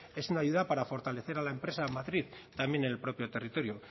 es una ayuda para fortalecer a la empresa matriz también en el propio territorio